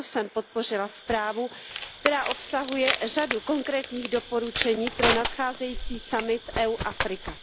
Proto jsem podpořila zprávu, která obsahuje řadu konkrétních doporučení pro nadcházející summit EU Afrika.